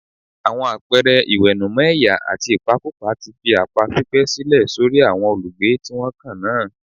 Àwọn àpẹẹrẹ ìwẹ̀nùmọ́ ẹ̀yà àti ìpakúpa ti fi àpá pípẹ́ sílẹ̀ sórí àwọn olùgbé tí wọ́n kan náà